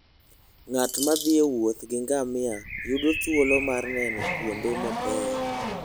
Ng'at ma thi e wuoth gi ngamia yudo thuolo mar neno kuonde mabeyo.